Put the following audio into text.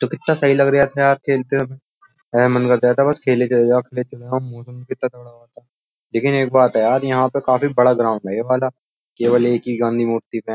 तो कितना सही लग रहा था यार खेलते समय मन कर रहा था बस खेले चले जाले चले जाओ मौसम कितना लेकिन एक बात है यार यहां पर काफी बड़ा ग्राउंड है ये वाला केवल एक ही गांधी मूर्ति पे --